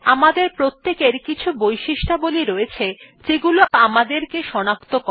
আমাদের প্রত্যেকের কিছু বৈশিষ্ট্যাবলী রয়েছে যেগুলি আমাদেরকে সনাক্ত করে